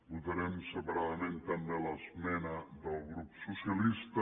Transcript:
votarem separadament també l’esmena del grup socialista